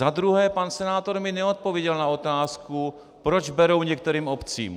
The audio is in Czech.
Za druhé, pan senátor mi neodpověděl na otázku, proč berou některým obcím.